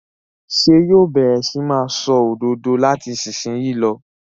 Ṣé yóò bẹ̀rẹ̀ sí ní máa ṣòdodo láti ìsìnyín lọ?